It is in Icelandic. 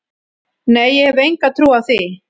Nei, ég hef enga trú á því.